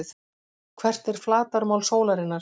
Hvert er flatarmál sólarinnar?